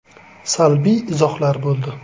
Salbiy izohlar bo‘ldi.